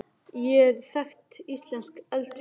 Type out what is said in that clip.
Hekla er þekkt íslenskt eldfjall.